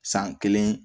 San kelen